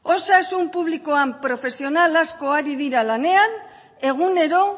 osasun publikoan profesional asko lan ari dira lanean egunero